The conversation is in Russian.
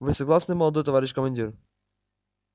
вы согласны молодой товарищ командир